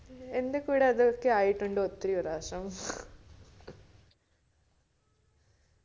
എന്റെ കൂടെ അതൊക്കെ ആയിട്ടുണ്ട് ഒത്തിരി പ്രാവിശ്യം